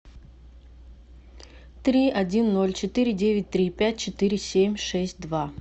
три один ноль четыре девять три пять четыре семь шесть два